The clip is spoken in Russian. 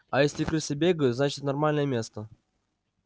а если крысы бегают значит нормальное место